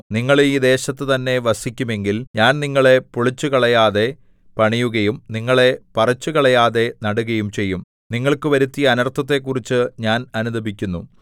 നിങ്ങൾ ഈ ദേശത്തുതന്നെ വസിക്കുമെങ്കിൽ ഞാൻ നിങ്ങളെ പൊളിച്ചുകളയാതെ പണിയുകയും നിങ്ങളെ പറിച്ചുകളയാതെ നടുകയും ചെയ്യും നിങ്ങൾക്ക് വരുത്തിയ അനർത്ഥത്തെക്കുറിച്ച് ഞാൻ അനുതപിക്കുന്നു